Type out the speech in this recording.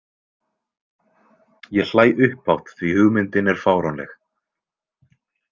Ég hlæ upphátt því hugmyndin er fáránleg.